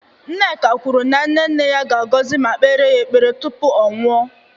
Nneka kwuru na nne nne ya ga-agọzi ma kpeere ya ekpere tupu ọ nwụọ